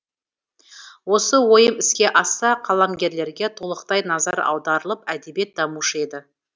осы ойым іске асса қаламгерлерге толықтай назар аударылып әдебиет дамушы еді